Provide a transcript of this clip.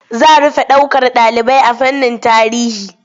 Za rufe ɗaukar ɗalibai a fannin tarihi.